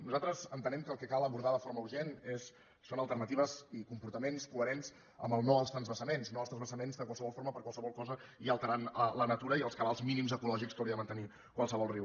nosaltres entenem que el que cal abordar de forma urgent són alternatives i comportaments coherents amb el no als transvasaments no als transvasaments de qualsevol forma per qualsevol cosa i alterant la natura i els cabals mínims ecològics que hauria de mantenir qualsevol riu